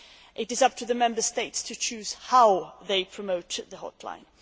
It is up to the Member States to choose how they promote the hotline.